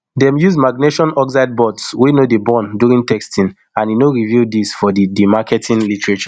dem use magnesium oxide boards wey no dey burn during testing and e no reveal dis for for di marketing literature